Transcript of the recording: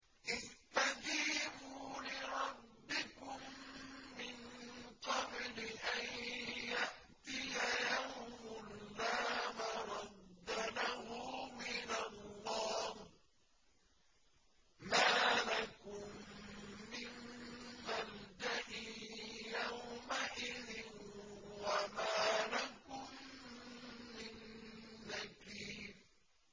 اسْتَجِيبُوا لِرَبِّكُم مِّن قَبْلِ أَن يَأْتِيَ يَوْمٌ لَّا مَرَدَّ لَهُ مِنَ اللَّهِ ۚ مَا لَكُم مِّن مَّلْجَإٍ يَوْمَئِذٍ وَمَا لَكُم مِّن نَّكِيرٍ